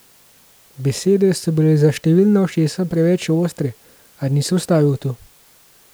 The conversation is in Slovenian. Besede so bile za številna ušesa preveč ostre, a ni se ustavil tu.